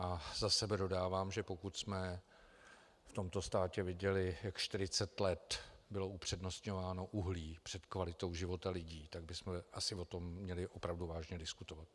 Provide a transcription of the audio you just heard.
A za sebe dodávám, že pokud jsme v tomto státě viděli, jak 40 let bylo upřednostňováno uhlí před kvalitou života lidí, tak bychom asi o tom měli opravdu vážně diskutovat.